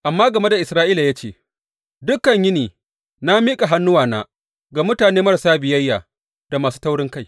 Amma game da Isra’ila ya ce, Dukan yini na miƙa hannuwana ga mutane marasa biyayya da masu taurinkai.